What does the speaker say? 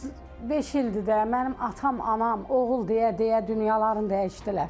35 ildir də mənim atam, anam, oğul deyə-deyə dünyaların dəyişdilər.